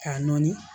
K'a nɔɔni